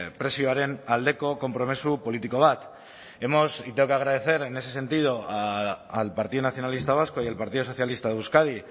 prezioaren aldeko konpromiso politiko bat y tengo que agradecer en ese sentido al partido nacionalista vasco y al partido socialista de euskadi